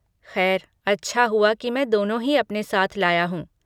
खैर, अच्छा हुआ कि मैं दोनों ही अपने साथ लाया हूँ।